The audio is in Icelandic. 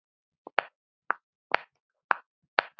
Þér leið vel.